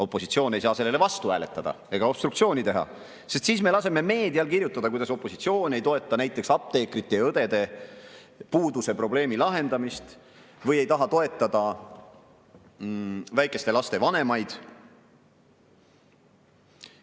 Opositsioon ei saa sellele vastu hääletada ega obstruktsiooni teha, sest siis me laseme meedial kirjutada, et opositsioon ei toeta näiteks apteekrite ja õdede puuduse probleemi lahendamist või ei taha toetada väikeste laste vanemaid.